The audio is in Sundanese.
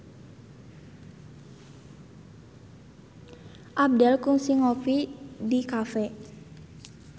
Abdel kungsi ngopi di cafe